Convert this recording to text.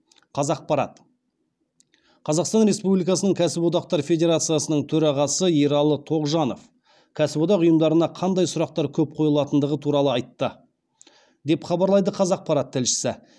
қазақпарат қазақстан республикасыныі кәсіптікодақтар федерациясының төрағасы ералы тоғжанов кәсіподақ ұйымдарына қандай сұрақтар көп қойылатындығы туралы айтты деп хабарлайды қазақпарат тілшісі